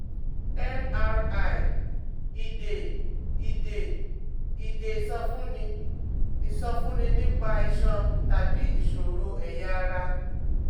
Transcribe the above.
MRI ìdè ìdè ìdè ìsọfúnni, ìsọfúnni nípa iṣan tàbí ìṣòro ẹ̀yà ara?